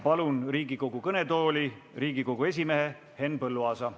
Palun Riigikogu kõnetooli Riigikogu esimehe Henn Põlluaasa.